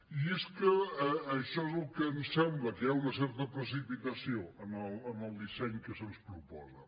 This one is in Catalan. i és que això és el que ens sembla que hi ha una certa precipitació en el disseny que se’ns proposa